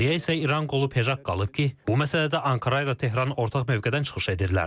Geriyə isə İran qolu PEJAK qalıb ki, bu məsələdə Ankara ilə Tehran ortaq mövqedən çıxış edirlər.